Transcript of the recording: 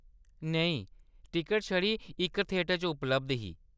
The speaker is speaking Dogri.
नेईं, टिकट छड़ी इक थिएटर च उपलब्ध ही।